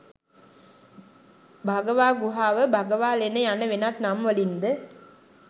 භගවා ගුහාව, භගවාලෙන යන වෙනත් නම් වලින් ද